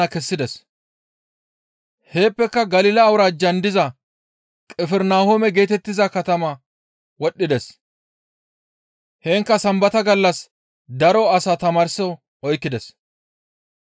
Heeppeka Galila awuraajjan diza Qifirnahoome geetettiza katama wodhdhides; heenkka Sambata gallas daro asa tamaarso oykkides.